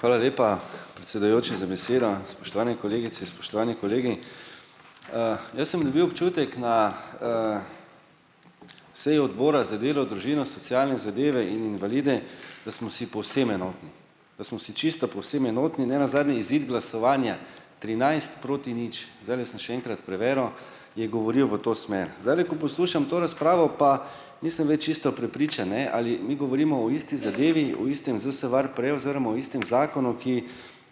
Hvala lepa predsedujoči za besedo, spoštovane kolegice spoštovani kolegi. Jaz sem dobil občutek na seji Odbora za delo, družino, socialne zadeve in invalide, da smo si povsem enotni, da smo si čisto povsem enotni, nenazadnje izid glasovanja trinajst proti nič, zdajle sem še enkrat preveril, je govorijo v to smer. Zdajle, ko poslušam to razpravo, pa nisem več isto prepričan, ne, ali mi govorimo o isti zadevi o istem ZSVarPre oziroma o istem zakonu, ki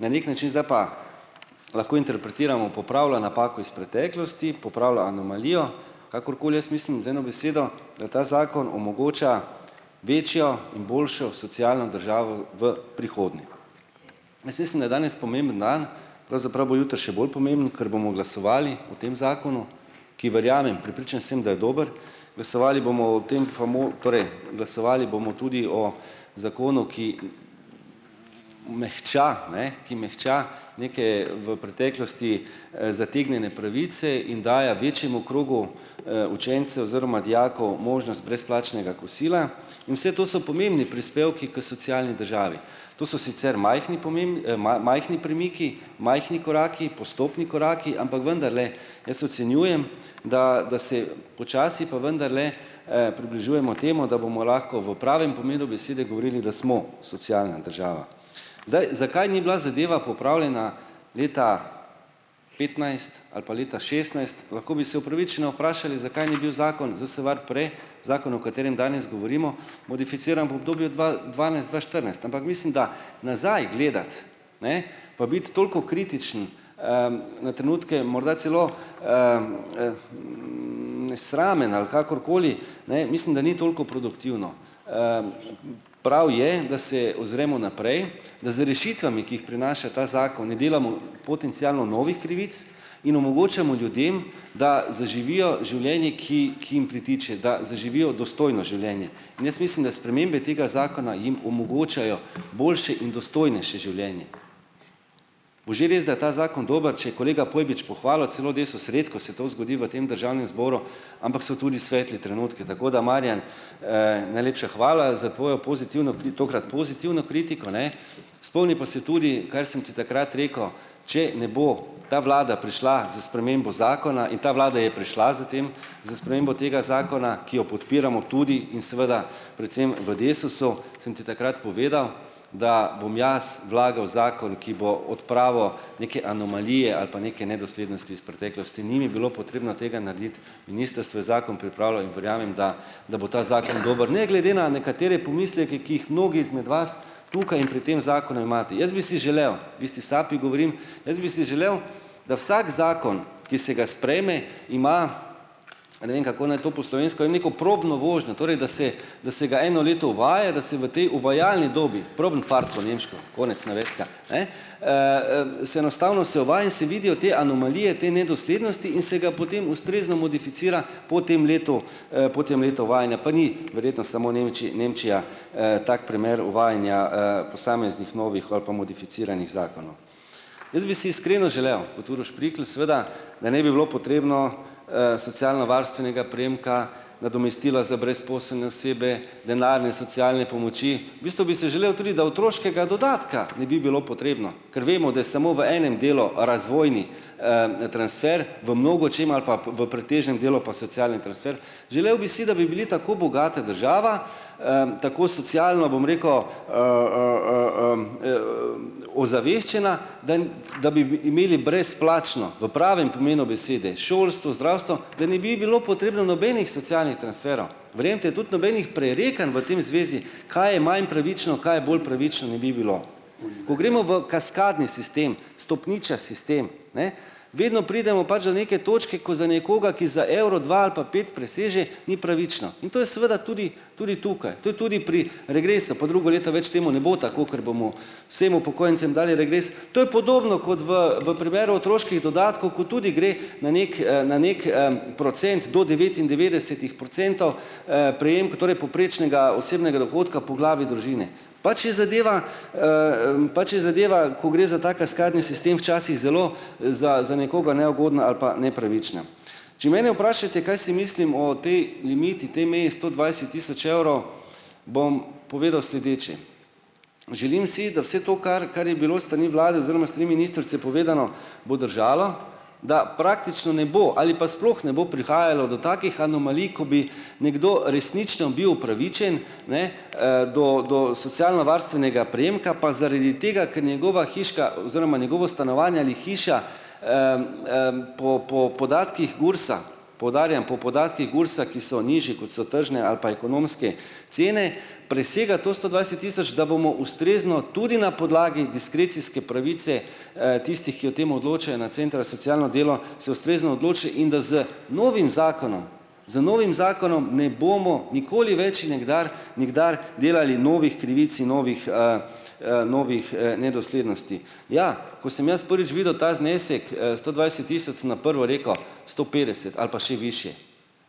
na neki način, zdaj pa lahko interpretiramo, popravlja napako iz preteklosti, popravlja anomalijo, kakorkoli jaz mislim z eno besedo, da ta zakon omogoča večjo in boljšo socialno državo v prihodnje. Jaz mislim, da je danes pomemben dan, pravzaprav bo jutri še bolj pomemben, ker bomo glasovali o tem zakonu, ki verjamem, prepričan sem, da je dober. Vesovali bomo o tem torej glasovali bomo tudi o zakonu, ki mehča, ne, ki mehča neke v preteklosti, zategnjene pravice in daje večjemu krogu, učencev oziroma dijakov možnost brezplačnega kosila. In vse to so pomembni prispevki k socialni državi. To so sicer majhni majhni premiki, majhni koraki, postopni koraki, ampak vendarle, jaz ocenjujem, da da se počasi pa vendarle, približujemo temu, da bomo lahko v pravem pomenu besede govorili, da smo socialna država. Zdaj, zakaj ni bila zadeva popravljena leta petnajst ali pa leta šestnajst, lahko bi se upravičeno vprašali, zakaj ni bil zakon ZSVarPre, zakon, o katerem danes govorimo, mumificiran v obdobju dva dvanajst-dva štirinajst, ampak mislim, da nazaj gledati, ne pa biti toliko kritičen, na trenutke morda celo nesramen, ali kakor koli, ne mislim, da ni toliko produktivno. Prav je, da se ozremo naprej, da z rešitvami, ki jih prenaša ta zakon, ne delamo potencialno novih krivic in omogočimo ljudem, da zaživijo življenje, ki, ki jim pritiče, da zaživijo dostojno življenje. In jaz mislim, da spremembe tega zakona jim omogočijo boljše in dostojnejše življenje. Bo že res, da ta zakon dober, če kolega Pojbič pohvalil, celo Desus, redko se to zgodi v tem državnem zboru, ampak so tudi svetli trenutki, tako da Marjan, najlepša hvala za tvojo pozitivno tokrat pozitivno kritiko, ne. Spomni pa se tudi, kar sem ti takrat rekel, če ne bo ta vlada prišla z spremembo zakona in ta vlada je prišla s tem, tega zakona, ki jo podpiramo tudi in seveda predvsem v Desusu, sem ti takrat povedal, da bom jaz vlagal zakon, ki bo odpravil neke anomalije ali pa neke nedoslednosti iz preteklosti, ni mi bilo potrebno tega narediti, ministrstvo je zakon pripravilo in verjamem, da da bo ta zakon dober, ne glede na nekatere pomisleke, ki jih mnogi izmed vas tukaj in pri tem zakonu imate, jaz bi si želel, v isti sapi govorim, jaz bi si želel, da vsak zakon, ki se ga sprejme, ima, ne vem, kako naj to po slovensko, neko probno vožnjo, torej da se da se ga eno leto uvaja, da se v tej uvajalni dobi, probenfart po nemško, konec navedka, e, se enostavno se uvaja in se vidijo te anomalije, te nedoslednosti in se ga potem ustrezno modificira po tem letu, po tem letu uvajanja, pa ni verjetno samo Nemčija, tak primer uvajanja, posameznih novih ali pa modificiranih zakonov. Jaz bi si iskreno želel, kot Uroš Prikl seveda, da ne bi bilo potrebno, socialnovarstvenega prejemka, nadomestila za brezposelne osebe, denarne socialne pomoči, v bistvu bi se želel tudi, da otroškega dodatka ne bi bilo potrebno, ker vemo, da smo v enem delu razvojni, transfer, v mnogočem ali pa v pretežnem delu pa socialni transfer. Želel bi si, da bi bili tako bogata država, tako socialno, bom rekel, ozaveščena, da da bi bi imeli brezplačno, v pravem pomenu besede, šolstvo, zdravstvo, da ne bi bilo potrebno nobenih socialnih transferov, verjemite, tudi nobenih prerekanj v tej zvezi, kaj je manj pravično, kaj je bolj pravično, ne bi bilo. Ko gremo v kaskadni sistem, stopničasti sistem, ne, vedno pridemo pač do neke točke, ko za nekoga, ki za evro, dva ali pa pet preseže, ni pravično in to je seveda tudi tudi tukaj, to je tudi pri regresu, pa drugo leto več temu ne bo tako, ker bomo vsem upokojencem dali regres. To je podobno kot v v primeru otroških dodatkov, ko tudi gre na neki, na neki, procent do devetindevetdesetih procentov, torej povprečnega osebnega dohodka po glavi družine, pač je zadeva, pač je zadeva, ko gre za ta kaskadni sistem, včasih zelo za za nekoga neugodna ali pa nepravična. Če mene vprašate, kaj si mislim o tej limiti, tej meji sto dvajset tisoč evrov, bom povedal sledeče. Želim si, da vse to, kar, kar je bilo s strani vlade povedano, bo držalo, da praktično ne bo ali pa sploh ne bo prihajalo do takih anomalij, ko bi nekdo resnično bil upravičen ne, do do socialnovarstvenega prejemka, pa zaradi tega, ker njegova hiška oziroma njegovo stanovanje ali hiša po po podatkih GURS-a, poudarjam, po podatkih GURS-a, ki so nižji, kot so tržne ali pa ekonomske cene, presega to sto dvajset tisoč, da bomo ustrezno tudi na podlagi diskrecijske pravice, tistih, ki o tem odločijo na centru socialno delo, se ustrezno odloči in da z novim zakonom, z novim zakonom ne bomo nikoli več in nikdar nikdar delali novih krivic in novih, novih, nedoslednosti. Ja, ko sem jaz prvič videl ta znesek, sto dvajset tisoč, sem na prvo rekel, sto petdeset ali pa še višje.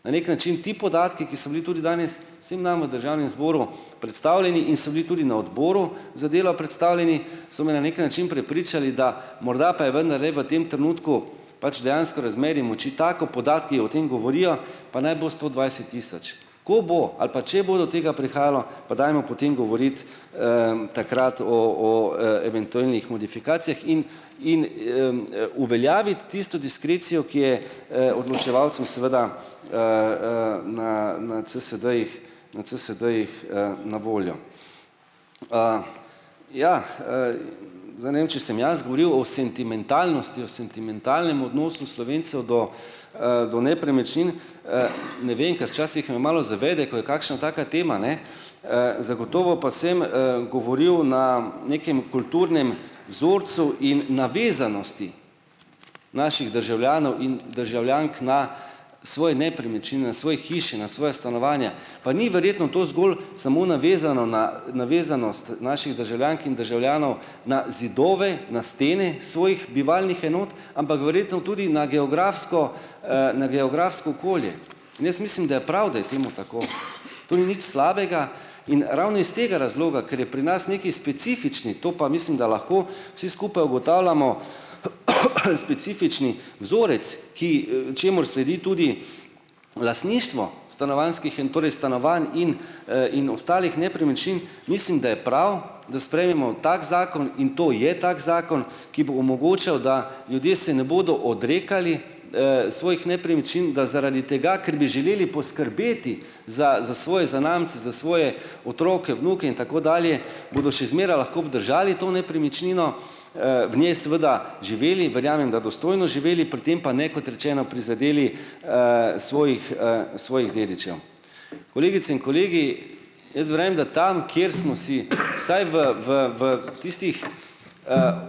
Na neki način ti podatki, ki so bili tudi danes vsem nam v državnem zboru predstavljeni in so bili tudi na odboru za delo predstavljeni, so me na neki način prepričali, da morda pa je vendar v tem trenutku pač dejansko razmerje moči tako, podatki o tem govorijo, pa naj bo sto dvajset tisoč.. Ko bo ali pa, če bo do tega prihajalo, pa dajmo potem govoriti, takrat o o, eventuelnih modifikacijah in in, uveljaviti tisto diskrecijo, ki je, odločevalcem seveda na CSD-jih, na voljo. Ja, če sem jaz govoril o sentimentalnosti, o sentimentalnem odnosu Slovencev do, do nepremičnin, ne vem, ker včasih me malo zavede, ko je kakšna taka tema, ne, zagotovo pa sem, govoril na nekem kulturnem vzorcu in navezanosti naših državljanov in državljank na svoje hiše, na svoja stanovanja, pa ni verjetno to zgolj samo na navezanost naših državljank in državljanov na zidove, na stene svojih bivalnih enot, tudi na geografsko, na geografsko okolje in jaz mislim, da je prav, da je temu tako. To ni nič slabega in ravno iz tega razloga, kar je pri nas nekaj specifično, to pa mislim, da lahko vsi skupaj ugotavljamo, specifični vzorec, k, čemur sledi tudi lastništvo stanovanjskih in torej stanovanj in, in ostalih nepremičnin, mislim, da je prav, da sprejmemo tak zakon in to je tak zakon, ki bo omogočal, da ljudje se ne bodo odrekali, svojih nepremičnin, da zaradi tega, ker bi želeli poskrbeti za za svoje zanamce, za svoje otroke, vnuke in tako dalje, bodo še zmeraj lahko obdržali to nepremičnino, v njej seveda živeli, verjamem, da dostojno živeli, pri tem pa ne, kot rečeno, prizadeli svojih, svojih dedičev. Kolegice in kolegi, da tam, kjer smo si saj v v v tistih,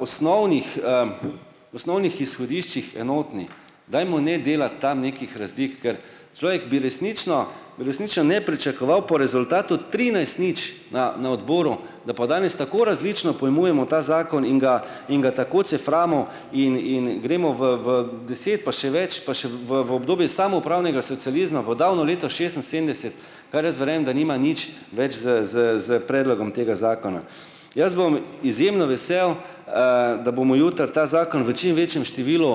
osnovnih, osnovnih izhodiščih enotni, dajmo ne delati tam nekih rezdih, kar človek bi resnično, resnično ne pričakoval po rezultatu trinajst nič na na odboru, da po danes tako različno pojmujemo ta zakon in ga in ga tako ceframo in in gremo v v deset, pa še več, pa še obdobje samoupravnega socializma, v davno leto šestinsedemdeset, da nima nič več s s s predlogom tega zakona. Jaz bom izjemno vesel, da bomo jutri ta zakon v čim večjem številu,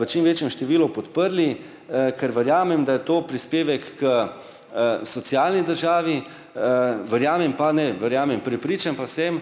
v čim večjem številu podprli, ker verjamem, da je to prispevek k, socialni državi, verjamem pa, ne, verjamem, prepričan pa sem,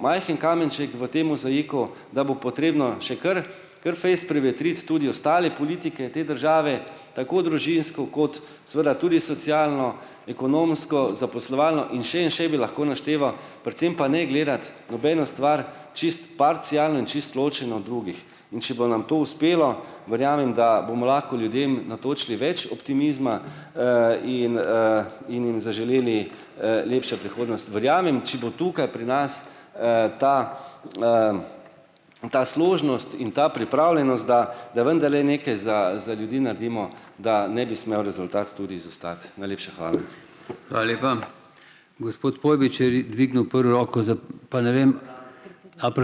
majhen kamenček v tem mozaiku, da bo potrebno še kar kar fejst prevetriti tudi ostale politike te države, tako družinsko kot seveda tudi socialno, ekonomsko, zaposlovalno in še in še bi lahko našteval, predvsem pa ne gledati nobeno stvar čisto parcialno in čisto ločeno od drugih. In če bo nam to uspelo, verjamem, da bomo lahko ljudem natočili več optimizma, in, in jim zaželeli, lepšo. Verjamem, če bo tukaj pri nas ta ta složnost in ta pripravljenost, da da vendarle neke za za ljudi naredimo, da ne bi smel rezultat tudi izostati. Najlepša hvala.